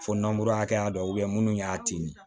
Fo nankurakɛ ya dɔ munnu y'a tin